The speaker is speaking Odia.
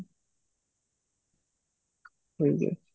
ଠିକ ଅଛି